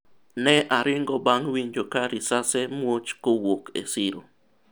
ne aringo bang' winjo ka risase muoch kowuok e siro